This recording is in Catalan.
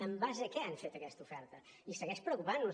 en base a què han fet aquesta oferta i segueix preocupant nos